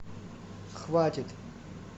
хватит